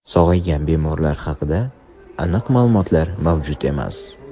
Sog‘aygan bemorlar haqida aniq ma’lumotlar mavjud emas.